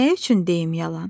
"Nə üçün deyim yalan?"